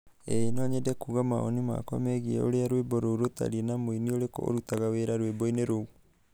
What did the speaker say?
Ĩĩ, no nyende kũiga mawoni makwa megiĩ ũrĩa rwĩmbo rũu rũtariĩ na mũini ũrĩkũ ũrutaga wĩra rwĩmbo-inĩ rũu.